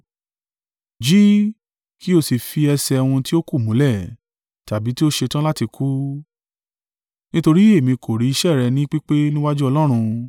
Jí, kí o sì fi ẹsẹ̀ ohun tí ó kù múlẹ̀, tàbí tí ó ṣetán láti kú, nítorí èmi kò rí iṣẹ́ rẹ ni pípé níwájú Ọlọ́run.